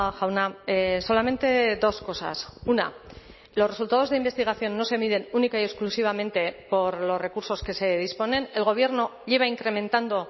jauna solamente dos cosas una los resultados de investigación no se miden única y exclusivamente por los recursos que se disponen el gobierno lleva incrementando